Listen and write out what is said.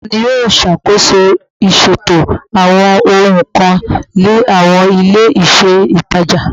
Tani o ṣakoso iṣeto awọn ohun kan ni awọn ile-iṣẹ itaja?